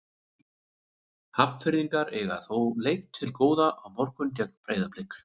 Hafnfirðingar eiga þó leik til góða á morgun gegn Breiðablik.